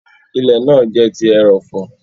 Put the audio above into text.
Ilẹ̀ náà jẹ ti erọ̀fọ̀.